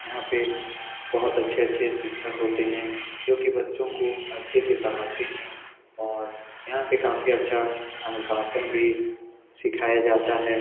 यहाँ पे बहोत अच्छे-अच्छे शिक्षक होते हैं जो की बच्चो को अच्छे से पढ़ाते है और यहाँ पे काफी अच्छा अनुशासन भी सिखाया जाता है।